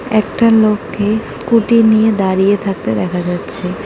একটা লোককে স্কুটি নিয়ে দাঁড়িয়ে থাকতে দেখা যাচ্ছে।